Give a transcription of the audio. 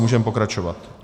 Můžeme pokračovat.